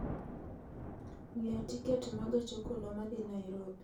ng'iewo tiket ma gach okoloma dhi Nairobi